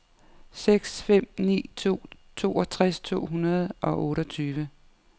seks fem ni to toogtres to hundrede og otteogtyve